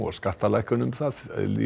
skattalækkunum það